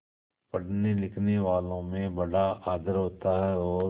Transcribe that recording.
पढ़नेलिखनेवालों में बड़ा आदर होता है और